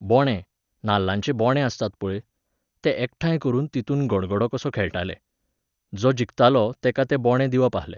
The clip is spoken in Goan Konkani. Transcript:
बोंणें, नाल्लाचे बोंणें आसताले पळय, ते एकठांय करून तितून गडगडो कसो खेळटाले. जो जिखतालो तेका ते बोंणें दिवप आहले.